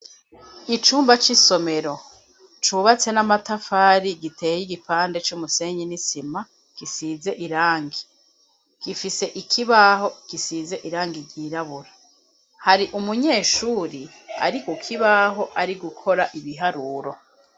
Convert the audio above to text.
Icumba c'isomero cubatse n'amatafari giteye igipande c'umusenyi n'isima gisize irangi, gifise ikibaho kisize irangi ryirabura hari umunyeshuri ari kukibaho ari gukora ibiharuro.